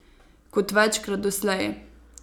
Kot večkrat doslej.